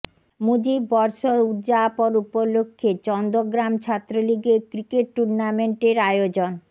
মুজিব বর্ষ উদযাপন উপলক্ষে চন্দগ্রাম ছাত্রলীগের ক্রিকেট টুর্নামেন্টের আয়োজন